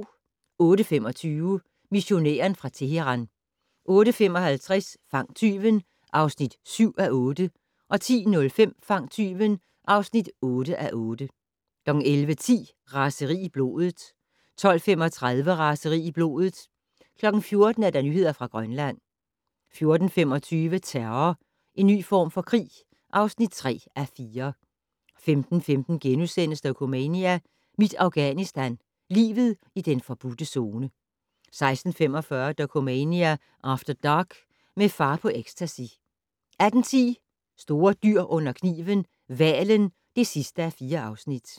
08:25: Missionæren fra Teheran 08:55: Fang tyven (7:8) 10:05: Fang tyven (8:8) 11:10: Raseri i blodet 12:35: Raseri i blodet 14:00: Nyheder fra Grønland 14:25: Terror - en ny form for krig (3:4) 15:15: Dokumania: Mit Afghanistan - Livet i den forbudte Zone * 16:45: Dokumania After Dark: Med far på ecstacy 18:10: Store dyr under kniven: Hvalen (4:4)